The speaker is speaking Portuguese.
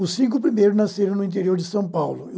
Os cinco primeiros nasceram no interior de São Paulo.